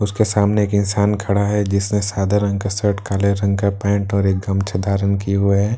उसके सामने एक इंसान खड़ा हुआ है जिसने सादे रंग का शर्ट काले रंग का पेंट और एक गमछा धारण किए हुए हैं --